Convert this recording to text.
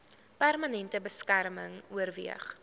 permanente beskerming oorweeg